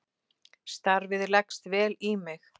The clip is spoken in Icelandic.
Starfið leggst vel í mig.